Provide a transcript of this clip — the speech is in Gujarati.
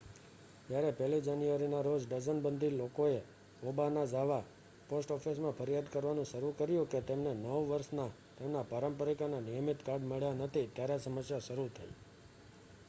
જ્યારે 1 જાન્યુઆરીના રોજ ડઝનબંધી લોકોએ ઓબાનાઝાવા પોસ્ટ ઑફિસમાં ફરિયાદ કરવાનું શરૂ કર્યું કે તેમને નવ વર્ષના તેમના પારંપરિક અને નિયમિત કાર્ડ મળ્યાં નથી ત્યારે સમસ્યા શરૂ થઈ